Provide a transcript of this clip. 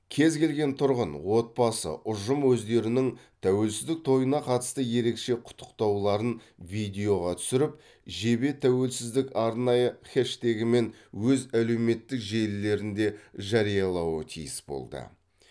кез келген тұрғын отбасы ұжым өздерінің тәуелсіздік тойына қатысты ерекше құттықтауларын видеоға түсіріп жебе тәуелсіздік арнайы хэштегімен өз әлеуметтік желілерінде жариялауы тиіс болды